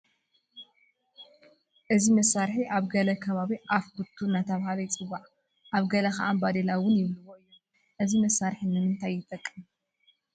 እዚ መሳርሒ ኣብ ገለ ከባቢ ኣፍ ኩቱ እናተባህለ ይፅዋዕ፡፡ ኣብ ገለ ከዓ ባዴላ እውን ይብልዎ እዮም፡፡ እዚ መሳርሒ ንምንታይ ይጠቅም?